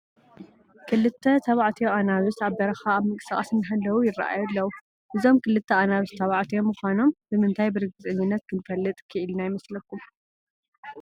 ክልተ ተባዕትዮ ኣናብስ ኣብ በረኻ ኣብ ምንቅስቓስ እናሃለው ይርአዩ ኣለዉ፡፡ እዞም ክልተ ኣናብስ ተባዕትዮ ምዃኖም ብምንታይ ብርግፀኝነት ክንፈልጥ ክኢልና ይመስለኩም?